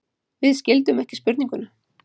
Við skildum ekki spurninguna.